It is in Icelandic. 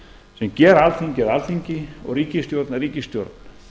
sem gera alþingi að alþingi og ríkisstjórn að ríkisstjórn